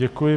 Děkuji.